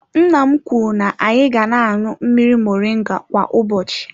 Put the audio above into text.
Nna m kwuru na-anyị ga na-aṅụ mmiri moringa kwa ụbọchị.